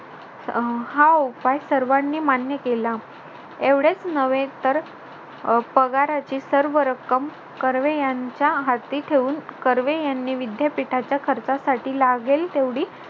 अह हा उपाय सर्वांनी मान्य केला. एवढेच नव्हे तर अं पगाराची सर्व रक्कम कर्वे यांच्या हाती ठेवून कर्वे यांनी विद्यापीठाच्या खर्चासाठी लागेल तेवढी